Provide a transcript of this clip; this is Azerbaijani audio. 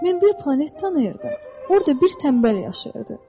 Mən bir planet tanıyırdım, orda bir tənbəl yaşayırdı.